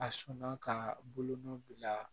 A sɔnna ka bolonɔ bila